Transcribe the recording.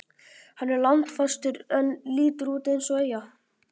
Hann er landfastur en lítur út eins og eyja.